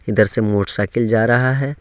इधर से मोटरसाइकील जा रहा हैं।